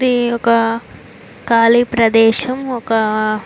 ఇది ఒక కాళీ ప్రదేశం ఒక--